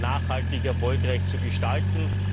nachhaltig erfolgreich zu gestalten.